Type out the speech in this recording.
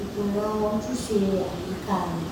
ìkùnà ojúṣe ayíkáà rẹ̀